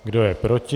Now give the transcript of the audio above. Kdo je proti?